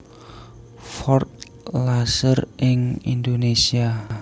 Ford Laser ing Indonesia